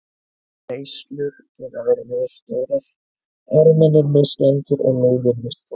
Reislur geta verið misstórar, armarnir mislangir og lóðin misþung.